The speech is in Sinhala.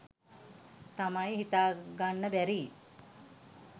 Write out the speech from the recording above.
තමයි හිතාගන්න බැරි.